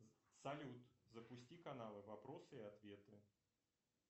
салют запусти каналы вопросы и ответы